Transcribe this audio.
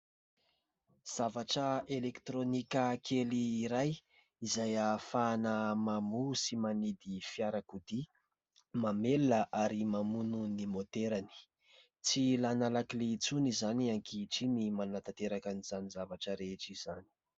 Zavatra elektirônika kely iray izay ahafahana mamoha sy manidy fiarakodia, mamelona ary mamono ny môterany. Tsy ilaina lakile intsony izany ankehitriny ny manantanteraka an'izany zavatra rehetra izany.